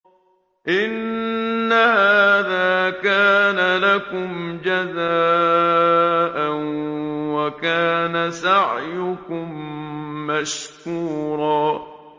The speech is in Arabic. إِنَّ هَٰذَا كَانَ لَكُمْ جَزَاءً وَكَانَ سَعْيُكُم مَّشْكُورًا